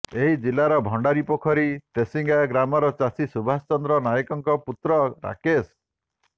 ଏହି ଜିଲାର ଭଣ୍ଡାରିପୋଖରୀ ତେସିଙ୍ଗା ଗ୍ରାମର ଚାଷୀ ସୁବାଷ ଚନ୍ଦ୍ର ନାୟକଙ୍କ ପୁତ୍ର ରାକେଶ